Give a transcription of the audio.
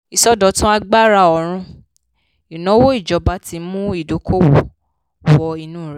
ìsọdọ̀tun agbára òòrùn: ìnáwó ìjọba ti mú ìdókòwó wọ inú rẹ̀.